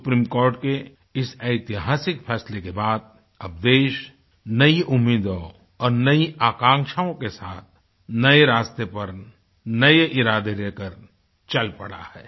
supreme court के इस ऐतिहासिक फैसले के बाद अब देश नई उम्मीदों और नई आकांशाओं के साथ नए रास्ते पर नये इरादे लेकर चल पड़ा है